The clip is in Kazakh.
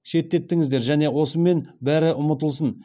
шеттетіңіздер және осымен бәрі ұмытылсын